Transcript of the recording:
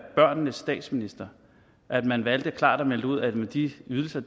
børnenes statsminister at man valgte klart at melde ud at de ydelser